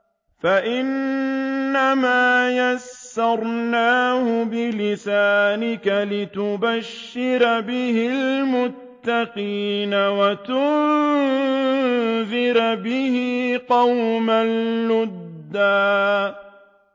فَإِنَّمَا يَسَّرْنَاهُ بِلِسَانِكَ لِتُبَشِّرَ بِهِ الْمُتَّقِينَ وَتُنذِرَ بِهِ قَوْمًا لُّدًّا